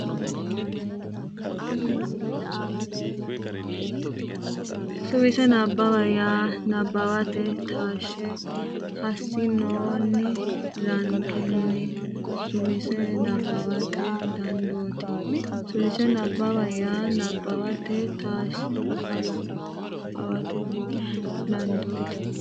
Suwise Nabbawa yaa nabbawate taashshe hasi noonni rankenni suwise nabbawate dandooti Suwise Nabbawa yaa nabbawate taashshe hasi noonni Suwise Nabbawa.